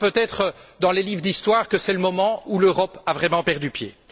On lira peut être dans les livres d'histoire que c'est le moment où l'Europe a vraiment perdu pied.